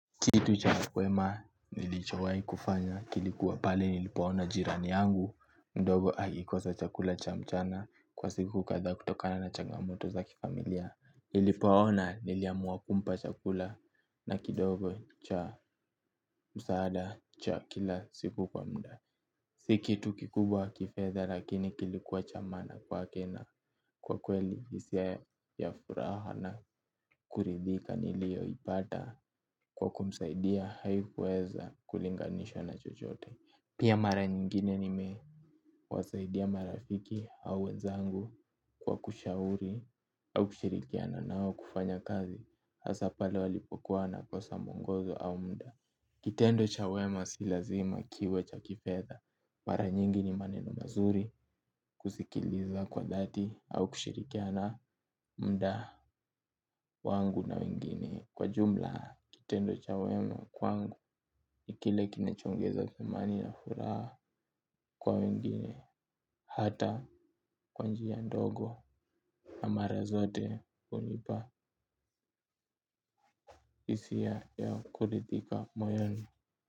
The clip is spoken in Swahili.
Kitu cha kwema nilichowai kufanya kilikuwa pale nilipoona jirani yangu mdogo hakikosa chakula cha mchana kwa siku kadhaa kutokana na changamoto za kifamilia. Nilipoona niliamua kumpa chakula na kidogo cha msaada cha kila siku kwa muda. Si kitu kikubwa kifedha lakini kilikuwa cha maana kwake na kwa kweli hisia ya furaha na kuridhika nilio ipata kwa kumsaidia haikuweza kulinganishwa na chochote. Pia mara nyingine nimewasaidia marafiki au wenzangu kwa kushauri au kushirikiana na wao kufanya kazi hasa pale walipokuwa wanakosa mwongozo au muda. Kitendo cha wema si lazima kiwe cha kifedha mara nyingi ni maneno mazuri kusikiliza kwa dhati au kushirikiana muda wangu na wengine. Kwa jumla, kitendo cha wema kwangu ni kile kinachoongeza thamani na furaha kwa wengine. Hata kwa njia ndogo na mara zote hunipa hisia ya kuridhika moyoni.